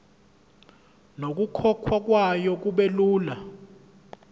nokukhokhwa kwayo kubelula